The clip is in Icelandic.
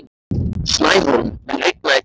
Snæhólm, mun rigna í dag?